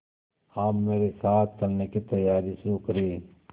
आप मेरे साथ चलने की तैयारी शुरू करें